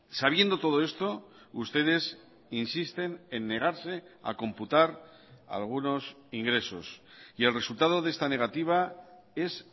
sabiendo todo esto ustedes insisten en negarse a computar algunos ingresos y el resultado de esta negativa es